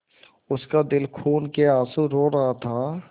उसका दिल खून केआँसू रो रहा था